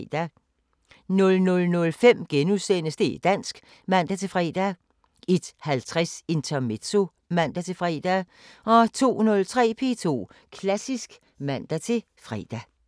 00:05: Det´ dansk *(man-fre) 01:50: Intermezzo (man-fre) 02:03: P2 Klassisk (man-fre)